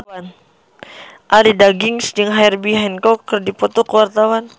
Arie Daginks jeung Herbie Hancock keur dipoto ku wartawan